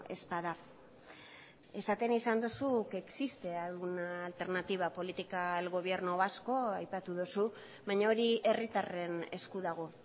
ez bada esaten izan duzu que existe alguna alternativa política al gobierno vasco aipatu duzu baina hori herritarren esku dago